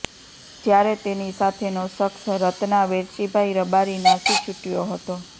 જ્યારે તેની સાથેનો શખસ રત્ના વેરશીભાઈ રબારી નાસી છૂટયો હતો